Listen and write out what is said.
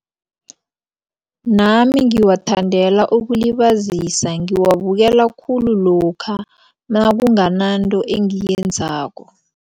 Nami ngiwathandela ukulibazisa ngiwabukela khulu lokha nakungananto engiyenzako.